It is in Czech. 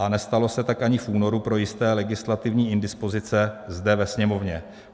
A nestalo se tak ani v únoru pro jisté legislativní indispozice zde ve Sněmovně.